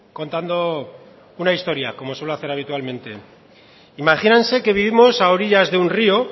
contando una historia como suelo hacer habitualmente imagínense que vivimos a orillas de un río